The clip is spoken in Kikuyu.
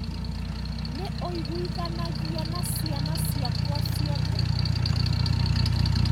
Nĩ ũiguithanagia na ciana ciakwa ciothe?